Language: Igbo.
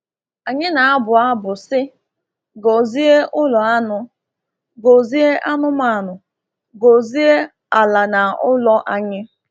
Anyị na-abụ abụ sị, “Gọzie ụlọ anụ, gọzie anụmanụ, gọzie ala na ụlọ anyị.”